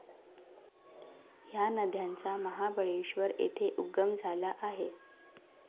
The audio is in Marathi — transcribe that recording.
या नद्यांचा महाबळेश्वर येथे उगम झाला आहे.